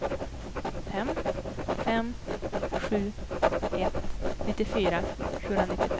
fem fem sju ett nittiofyra sjuhundranittiofem